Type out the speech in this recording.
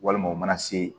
Walima u mana se